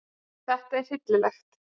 Þetta er hryllilegt